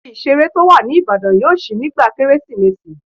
Ibi ìseré tó wà ní Ìbàdàn yóò ṣí nígbà kérésìmesì